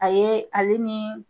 A ye ale ni.